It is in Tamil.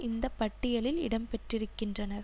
இந்த பட்டியலில் இடம் பெற்றிருக்கின்றனர்